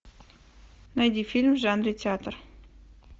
найди фильм в жанре театр